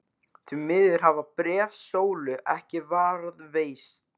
Því miður hafa bréf Sólu ekki varðveist.